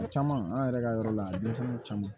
O caman an yɛrɛ ka yɔrɔ la denmisɛnnin caman